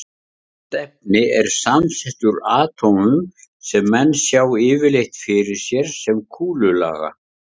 Allt efni er samsett úr atómum sem menn sjá yfirleitt fyrir sér sem kúlulaga.